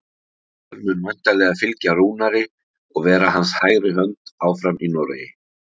Pétur mun væntanlega fylgja Rúnari og vera hans hægri hönd áfram í Noregi.